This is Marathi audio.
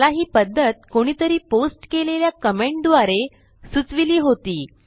मला ही पध्दत कोणीतरी पोस्ट केलेल्या कमेंट द्वारे सुचविली होती